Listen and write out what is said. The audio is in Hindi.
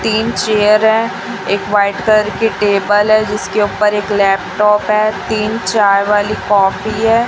तीन चेअर हैं एक व्हाईट कलर की टेबल हैं जिसके ऊपर एक लॅपटॉप हैं तीन चाय वाली कॉफी हैं।